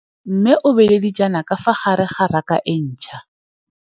Mmê o beile dijana ka fa gare ga raka e ntšha.